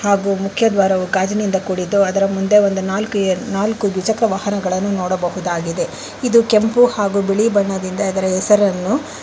ಹಾಗು ಮುಖ್ಯದ್ವಾರವು ಗಾಜಿನಿಂದ ಕೂಡಿದ್ದು ಅದರ ಮುಂದೆ ಒಂದು ನಾಲ್ಕು ಎ ನಾಲ್ಕು ದ್ವಿಚಕ್ರ ವಾಹನವನ್ನು ನೋಡಬಹುದಾಗಿದೆ ಇದು ಕೆಂಪು ಹಾಗು ಬಿಳಿ ಬಣ್ಣದಿಂದ ಇದರ ಹೆಸರನ್ನು --